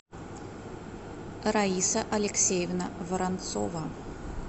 раиса алексеевна воронцова